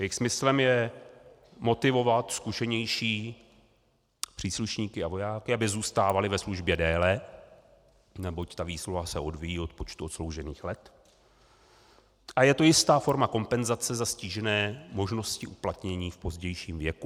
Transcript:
Jejich smyslem je motivovat zkušenější příslušníky a vojáky, aby zůstávali ve službě déle, neboť ta výsluha se odvíjí od počtu odsloužených let a je tu jistá forma kompenzace za ztížené možnosti uplatnění v pozdějším věku.